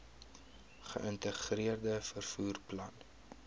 geïntegreerde vervoer plan